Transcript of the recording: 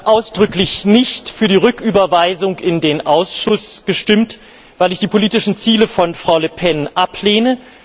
Ich habe ausdrücklich nicht für die Rücküberweisung in den Ausschuss gestimmt, weil ich die politischen Ziele von Frau Le Pen ablehne.